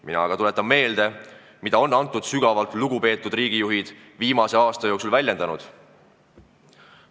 Mina aga tuletan meelde, mida on need väga lugupeetud riigijuhid viimase aasta jooksul väljendanud.